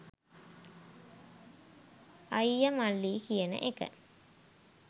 අයිය මල්ලි කියන එක